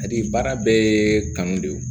Hali baara bɛɛ ye kanu de ye